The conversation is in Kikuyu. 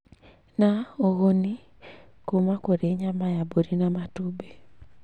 na ũguni kũma kũrĩ nyama ya mburi na matumbĩ.